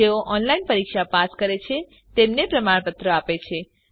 જેઓ ઓનલાઈન પરીક્ષા પાસ કરે છે તેમને પ્રમાણપત્રો આપે છે